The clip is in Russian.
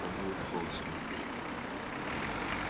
пробовал вхолостую илья